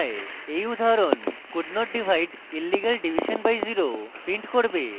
এই উদাহরণ could not divide illegal division by zero print করবে